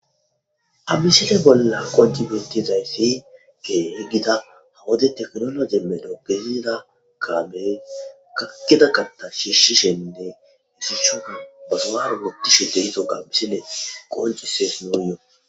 Ha misise bolla qoji bentizayssi ke higgida hawode teknolo gemedo gesida kaabey kakkida katta shiishshishenne isichuna basomaro gotishu te hiso ga bissine qoncuses muuyo.